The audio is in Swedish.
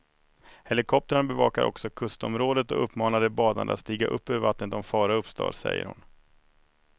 Helikoptrarna bevakar också kustområdet och uppmanar de badande att stiga upp ur vattnet om fara uppstår, säger hon.